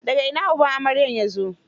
Da ga ina uban amarya ya zo?